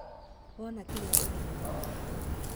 Wona kĩrĩa ũrenda no ginya woye.